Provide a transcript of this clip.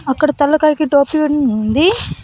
అక్కడ తలకాయకి టోపీ ఉంది.